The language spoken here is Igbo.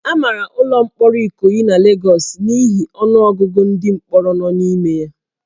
A mara ụlọ mkpọrọ Ikoyi na Lagos n'ihi ọnụ ọgụgụ ndị mkpọrọ nọ n'ime ya